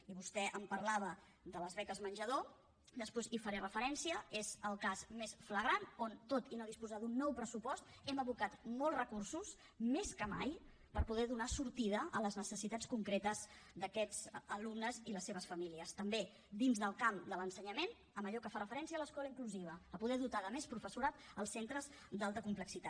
i vostè em parlava de les beques menjador després hi faré referència n’és el cas més flagrant tot i no disposar d’un nou pressupost hem abocat molts recursos més que mai per poder donar sortida a les necessitats concretes d’aquests alumnes i les seves famílies també dins del camp de l’ensenyament en allò que fa referència a l’escola inclusiva a poder dotar de més professorat els centres d’alta complexitat